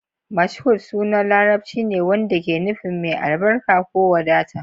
Mashood sunan Larabci ne wanda ke nufin "mai albarka" ko "wadata".